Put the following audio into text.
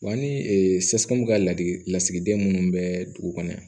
Wa ni ka lasigiden minnu bɛ dugu kɔnɔ